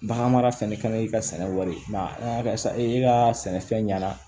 Baganmara fɛnɛ kaɲi i ka sɛnɛ wari ka sɛnɛfɛn ɲɛna